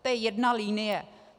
To je jedna linie.